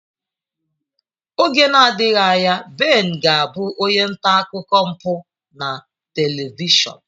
Oge nadighị anya Ben ga abụ onye nta akụkọ mpụ na telivishọn.